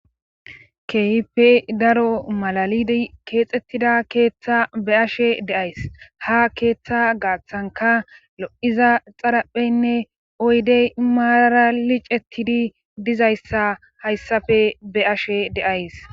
keehipe daro malalidi keexettida keeththa be ashe deays ha keeththa gaaththanka lo7iza xarapheynne oydey maaralicetidi dizayssa hayssappe be'ashe de'ays.